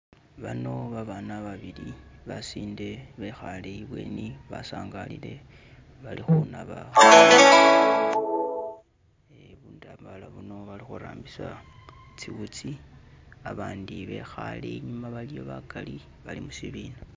Bano babana babili basinde bekhale ibweni basangalile bali khunaba burambala buno bakhurambisa ziwutsi abandi bekhale inyuma bagali bali mushibina.